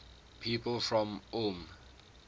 people from ulm